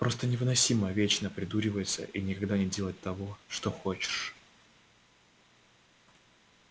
просто невыносимо вечно придуриваться и никогда не делать того что хочешь